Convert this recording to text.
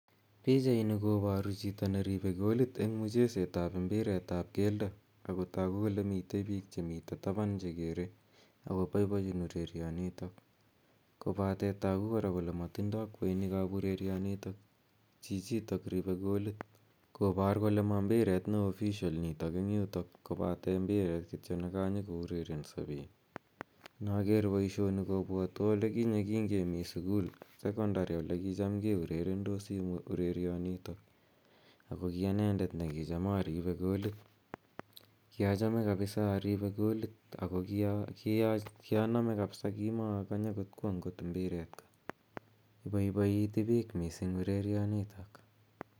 Pichaini koparu chito ne ripei golit eng' mcheset ap mbiret ap keldo, ago tagu kole motei piik che mitei tapan chekere , ako paipachin urerionitok kopate tagu kora kole matindoi kweinik ap urerionitok chichitok ripei golit kopar kole ma mbiret ne official nitok eng'yutok kopate mbiret kityo ne ka nyukourerenso piik. Inaker poishoni kopwatwa ole kinye kingemi sukul sekondari ole kicham keurerendosi urerianitak ako ki anendet ne kicham aripe golit. Kiachame kapisa arime golit ako ni a name kapisa, kimaakanye kot kwa ngot mbireet ko. Ipaipaiti pich missing' urerianitok